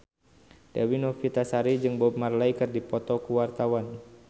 Dewi Novitasari jeung Bob Marley keur dipoto ku wartawan